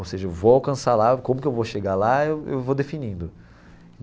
Ou seja, eu vou alcançar lá, como que eu vou chegar lá, eu eu vou definindo.